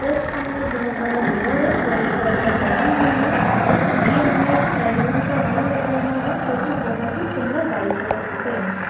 Just सामने एक बहुत बड़ा मिरर है वह एक चेयर पर बैठी हुई है और ये हमे एक सलून का व्यू लग रहा है जो की बहुत ही सुंदर व्हाइट कलर से पेंट है।